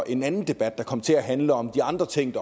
en anden debat der kom til at handle om de andre ting